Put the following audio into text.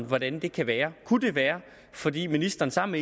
hvordan det kan være kunne det være fordi ministeren sammen